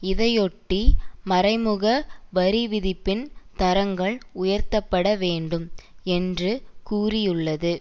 இதையொட்டி மறைமுக வரிவிதிப்பின் தரங்கள் உயர்த்தப்பட வேண்டும் என்று கூறியுள்ளது